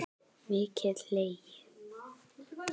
Mikið hlegið.